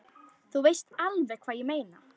Þú veist alveg hvað ég meina!